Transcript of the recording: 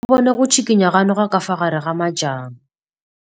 O bone go tshikinya ga noga ka fa gare ga majang.